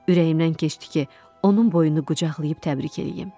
Ürəyimdən keçdi ki, onun boynunu qucaqlayıb təbrik eləyim.